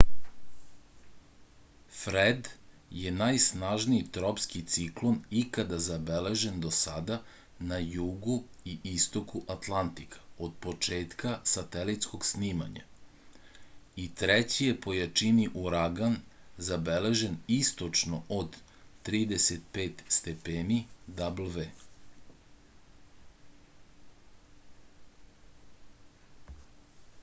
фред је најснажнији тропски циклон икада забележен до сада на југу и истоку атлантика од почетка сателитског снимања и трећи је по јачини ураган забележен источно од 35°w